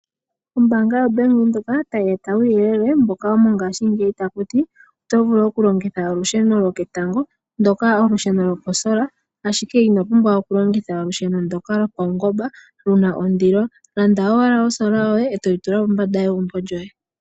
Ombaanga yaWindhoek tayi eta uuyelele mboka womongashingeyi takuti, oto vulu okulongitha olusheno loketango, ashike inopumbwa oku longitha olusheno ndoka lopawungomba luna ondilo. Landa owala olusheno loketango ndele totula pombanda yegumbo lyoye.